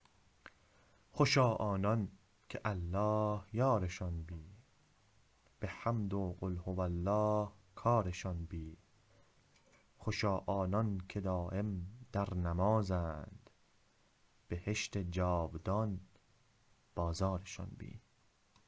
خوشا آنانکه الله یارشان بی که حمد و قل هو الله کارشان بی خوشا آنان که دایم در نمازند بهشت جاودان بازارشان بی